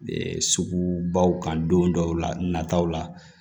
Sugubaw kan don dɔw la nataw la